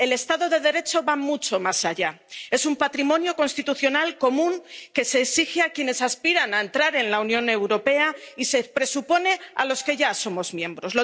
El Estado de Derecho va mucho más allá es un patrimonio constitucional común que se exige a quienes aspiran a entrar en la Unión Europea y se presupone a los que ya somos miembros.